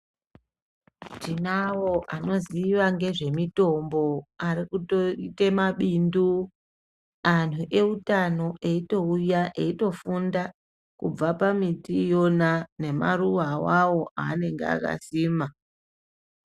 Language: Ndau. Tinavo anoziva ngezvemitombo arikutoita mabindu. Antu eutano eitouya eitofunda kubva pamiti iyona nemaruva avavo anenge akasima.